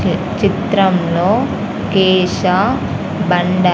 చిత్రంలో కేశ బండ--